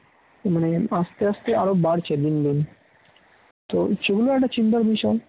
মানে আস্তে আস্তে আরো বাড়ছে দিনকে দিন তো সেগুলো একটা চিন্তার বিষয়